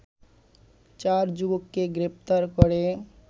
চার যুবককে গ্রেপ্তার করে